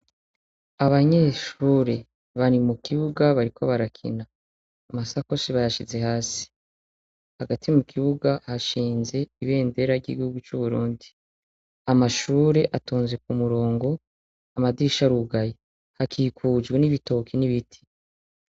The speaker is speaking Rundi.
Abanyeshure bari mu kibuga bariko barakina amasakoshi bayashize hasi hagati mu kibuga hashinze ibendera ryigugu c'uburundi amashure atunze ku murongo amadisha rugayi hakikujwe n'ibitoki n'ibiti.